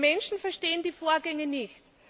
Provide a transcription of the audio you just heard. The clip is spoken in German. Die Menschen verstehen die Vorgänge nicht.